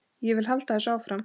Ég vil halda þessu áfram.